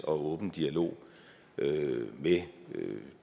åben dialog med